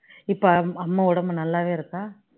இப்போ அம்மா உடம்பு நல்லாவே இருக்கா